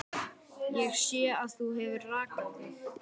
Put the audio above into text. Ég sé að þú hefur rakað þig.